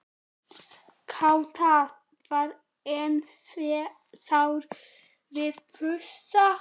Kata var enn sár við Fúsa.